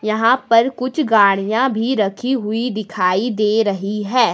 यहां पर कुछ गाड़ियां भी रखी हुई दिखाई दे रही है।